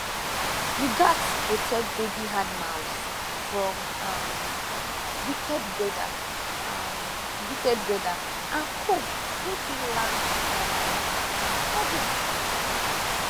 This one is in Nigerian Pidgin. you gats protect baby animals from um wicked weather um wicked weather and cold wey fit land um sudden